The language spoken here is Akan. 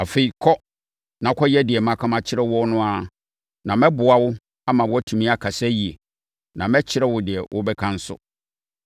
Afei, kɔ na kɔyɛ deɛ maka akyerɛ wo no na mɛboa wo ama woatumi akasa yie, na mɛkyerɛ wo deɛ wobɛka nso.”